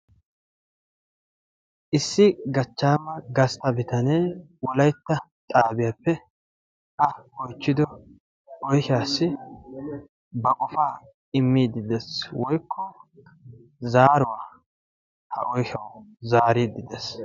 Issi gachchama gastta bitanee Wolaytta xaabiyaappe a oychchido oyshshaw ba qofaa immide des woykko zaaruwaa ha oyshshaw zaaride des.